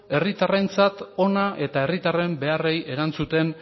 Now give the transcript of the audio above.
herritarrentzat ona eta herritarren beharrei erantzuten